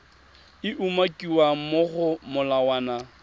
e umakiwang mo go molawana